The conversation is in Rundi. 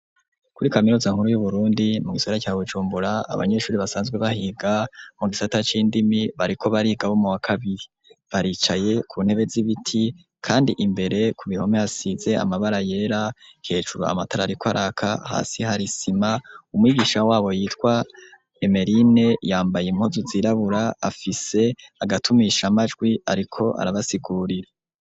Kuri kaminuza nkuru y'uburundi mu gisagara cya wucumbura abanyeshuri basanzwe bahiga mu gisatac indimi bariko bari gaboma wa kabiri baricaye ku ntebe z'ibiti kandi imbere ku bihome hasize amabara yera hecuro amatarariko araka hasi hari sima umyigisha wabo yitwa emerine yambaye impozu zirabura afise agatumisha amajwi ariko arabasigurira.